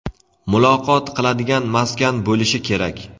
muloqot qiladigan maskan bo‘lishi kerak.